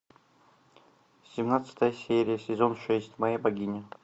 семнадцатая серия сезон шесть моя богиня